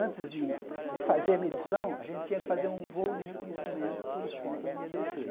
Antes de de fazer a medição, a gente tinha que fazer um voo de reconhecimento por os pontos onde ia descer.